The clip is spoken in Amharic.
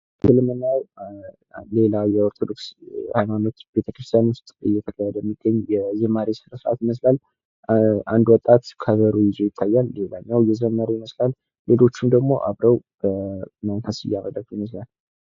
ከምስሉ ላይ የምናየው ሌላ የኦርቶዶክስ ሃይማኖት ቤተ-ክርስቲያን ዉስጥ እየተካሄደ የሚገኝ የዝማሬ ስነ-ስርዓት ነው። አንድ ወጣት ከበሮ ይዞ ይታያል። ሌላኛው እየዘመረ ይመስላል። ሌሎችም ደግሞ አብረው በመንፈስ እያገለገሉ ይገኛሉ።